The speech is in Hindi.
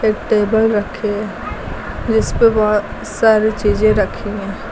टेबल रखे है जिस पे बहुत सारी चीजें रखी हैं।